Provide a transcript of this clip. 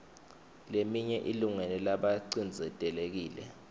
leminye ilungele labacindzetelekile